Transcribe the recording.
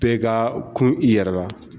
Bɛ ka kun i yɛrɛ la